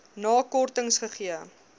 na kortings gegee